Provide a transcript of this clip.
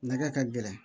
Nakɛ ka gɛlɛn